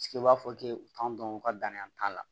u b'a fɔ k'e t'a dɔn u ka dannan t'a la